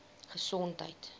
gesondheid